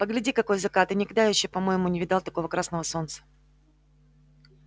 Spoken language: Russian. погляди какой закат я никогда ещё по-моему не видал такого красного солнца